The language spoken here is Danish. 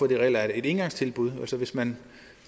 det reelt er et engangstilbud altså hvis man